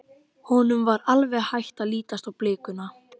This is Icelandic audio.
Honum var alveg hætt að lítast á blikuna.